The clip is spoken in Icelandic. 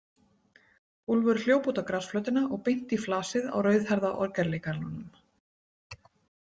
Úlfur hljóp út á grasflötina og beint í flasið á rauðhærða orgelleikaranum.